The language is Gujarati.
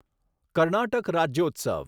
કર્ણાટક રાજ્યોત્સવ